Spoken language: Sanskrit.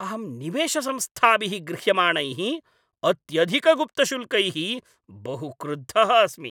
अहं निवेशसंस्थाभिः गृह्यमाणैः अत्यधिकगुप्तशुल्कैः बहु क्रुद्धः अस्मि।